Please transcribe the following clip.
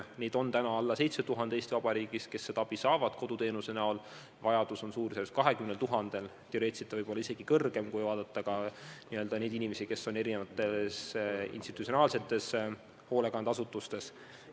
Praegu saab koduteenuse näol abi veidi alla 7000 inimese, vajadus on suurusjärgus 20 000, teoreetiliselt võib olla isegi suurem, kui arvestada ka neid inimesi, kes on erinevates institutsionaalsetes hoolekandeasutustes.